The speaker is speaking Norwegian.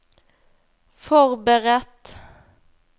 forberedt